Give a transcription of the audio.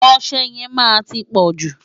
Ọṣẹ yẹn máa ti pọ̀jù.